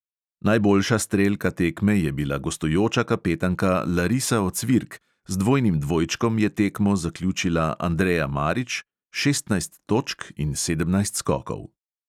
Najboljša strelka tekme je bila gostujoča kapetanka larisa ocvirk, z dvojnim dvojčkom je tekmo zaključila andrea marić (šestnajst točk in sedemnajst skokov).